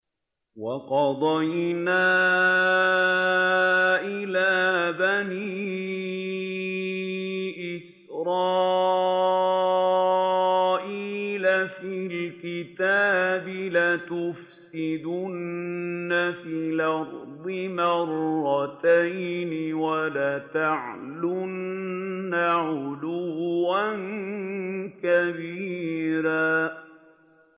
وَقَضَيْنَا إِلَىٰ بَنِي إِسْرَائِيلَ فِي الْكِتَابِ لَتُفْسِدُنَّ فِي الْأَرْضِ مَرَّتَيْنِ وَلَتَعْلُنَّ عُلُوًّا كَبِيرًا